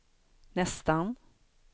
nästan